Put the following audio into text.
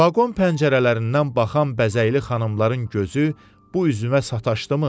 Vaqon pəncərələrindən baxan bəzəkli xanımların gözü bu üzümə sataşdımı?